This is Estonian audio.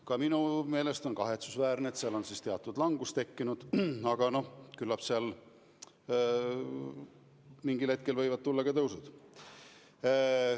Ka minu meelest on kahetsusväärne, et seal on teatud langus tekkinud, aga küllap mingil hetkel võivad jälle tulla tõusud.